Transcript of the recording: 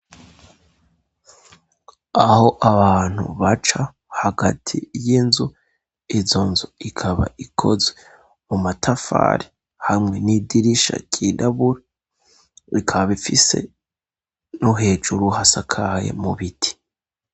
Aho abantu baca hagati y'inzu, izo nzu ikaba ikoze mu matafari, hamwe n'idirisha ryirabura, bikaba bifise no hejuru hasakaye mu biti.